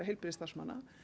heilbrigðisstarfsmanna